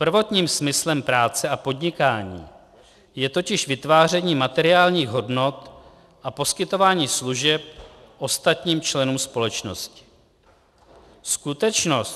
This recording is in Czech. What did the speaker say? Prvotním smyslem práce a podnikání je totiž vytváření materiálních hodnot a poskytování služeb ostatním členům společnosti. Skutečnost...